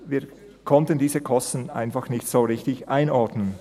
Wir konnten diese Kosten einfach nicht richtig einordnen.